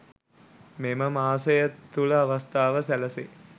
මෙම මාසය තුළ අවස්ථාව සැලසේ